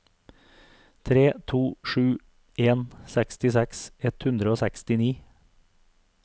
tre to sju en sekstiseks ett hundre og sekstini